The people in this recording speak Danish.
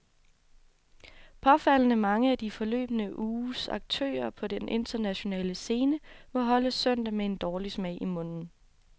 Påfaldende mange af den forløbne uges aktører på den internationale scene må holde søndag med en dårlig smag i munden.